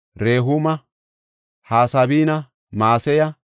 Rehuuma, Hasabina, Maseya,